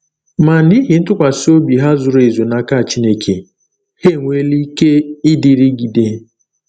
Ma n’ihi ntụkwasị obi ha zuru ezu n’aka Chineke, ha enweela ike ịdịrịgide.